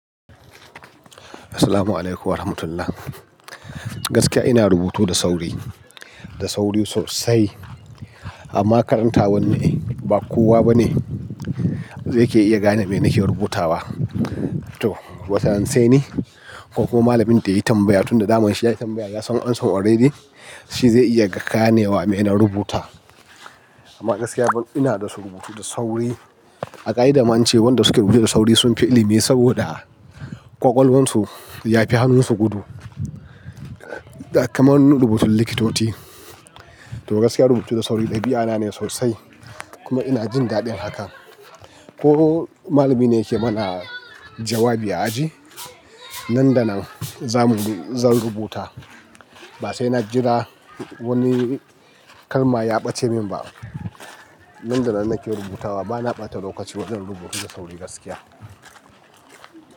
Assalamualaikum warahmatullah. Gaskiya ina rubutu da sauri, da sauri sosai. Amma karanta wanni ba kowa ba ne zaike iya gane me nake rubutawa. To, wataran sai ne ko kuma malamin da ya yi tambaya tunda damun shi ya yi tambaya ya san amsan already, shi zai iya gane wa me na rubuta. Amma gaskiya ina da su rubutu da sauri. A ƙa'ida ma ance wanda suke rubuta da sauri sun fi ilimi saboda ƙwaƙwalwarsu ya fi hannunsu gudu. Da kamar na rubutun likitoci. To, gaskiya rubutu da sauri ɗabi'ana ne sosai. Kuma ina jin daɗin haka. Ko malamina yake mana jawabi a aji, nan da nan za mu, zan rubuta. Ba sai na jira wani kalma ya ɓace min ba. Nan da nan nake rubutawa, ba na ɓata lokaci wajen rubutu da sauri gaskiya.